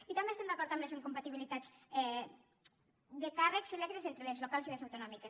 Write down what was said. i també estem d’acord amb les incompatibilitats de càrrecs electes entre les locals i les autonòmiques